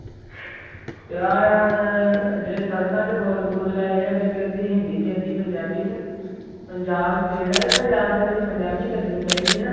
ਤੇ ਆਹ ਜਿਹੜੇ ਸੜਕਾਂ ਤੇ ਬੋਰਡ ਬੂਰਡ ਲਾਏ ਹੈ ਵਿੱਚ ਅੱਧੀ ਹਿੰਦੀ ਤੇ ਅੱਧੀ ਪੰਜਾਬੀ ਚ ਪੰਜਾਬ state ਆ ਤੇ ਪੰਜਾਬ ਦੇ ਵਿੱਚ ਪੰਜਾਬੀ ਚੱਲਣੀ ਚਾਹੀਦੀ ਹਨਾ